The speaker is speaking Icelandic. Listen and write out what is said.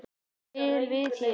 á vel við hér.